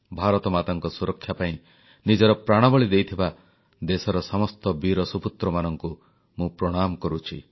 ଭାରତମାତାଙ୍କ ସୁରକ୍ଷା ପାଇଁ ନିଜର ପ୍ରାଣବଳି ଦେଇଥିବା ଦେଶର ସମସ୍ତ ବୀର ସୁପୁତ୍ରମାନଙ୍କୁ ମୁଁ ପ୍ରଣାମ କରୁଛି